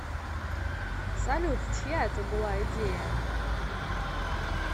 салют чья это была идея